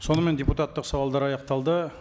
сонымен депутаттық сауалдар аяқталды